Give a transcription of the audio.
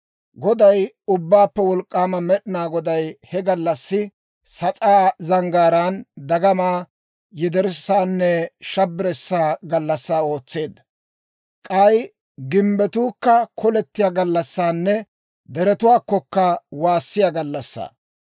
Goday, Ubbaappe Wolk'k'aama Med'inaa Goday ha gallassaa Sas'aa Zanggaaraan dagama, yederssanne shabbirssaa gallassaa ootseedda; k'ay gimbbetuukka kolettiyaa gallassanne deretuwaakkokka waassiyaa gallassaa.